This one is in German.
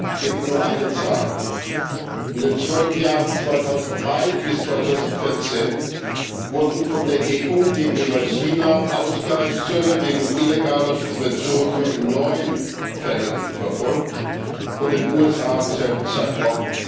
Ich gebe Ihnen nur eine Zahl In den zwölf Jahren 2003 bis 2014 wurden von der EU gegenüber China Ausgleichszölle wegen illegaler Subventionen nur in neun Fällen verfolgt, von den USA im selben Zeitraum